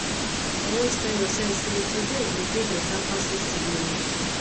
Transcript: always tel urself sey today go dey beta pass yestaday own